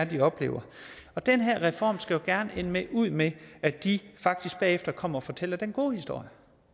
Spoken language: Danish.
de oplever og den her reform skal jo gerne ende ud med at de faktisk bagefter kommer og fortæller den gode historie